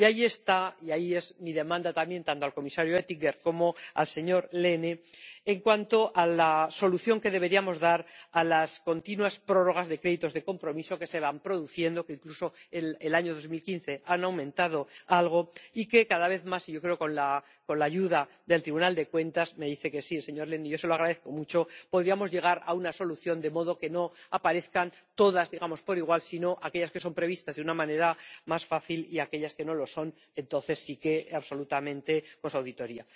Y ahí queda mi demanda, también, tanto al comisario Oettinger como al señor Lehne, en cuanto a la solución que deberíamos dar a las continuas prórrogas de créditos de compromiso que se van produciendo, que incluso en el año 2015 han aumentado algo, y que cada vez más, y yo creo que, con la ayuda del Tribunal de Cuentas ―me dice que sí el señor Lehne, y yo se lo agradezco mucho―, podríamos llegar a una solución, de modo que no aparezcan todas por igual, sino aquellas que están previstas, de una manera más fácil, y aquellas que no lo están, entonces sí, absolutamente, auditoría.